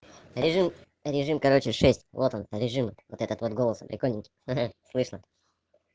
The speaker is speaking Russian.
режим режим короче шесть вот он режим вот этот вот голосом прикольным ха-ха слышно